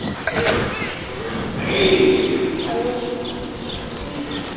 আৰু হম